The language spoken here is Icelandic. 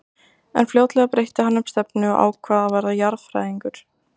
En fljótlega breytti hann um stefnu og ákvað að verða jarðfræðingur.